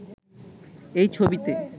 এই ছবিতে